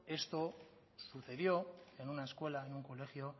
esto sucedió en una escuela en un colegio